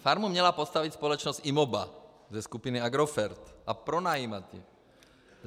Farmu měla postavit společnost IMOBA ze skupiny Agrofert a pronajímat ji.